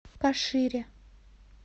кашире